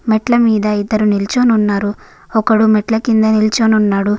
మెట్ల మీద ఇద్దరు నిలచిని ఉన్నారు. మెట్ల కింద ఒకడు నిల్చుని వునాడు.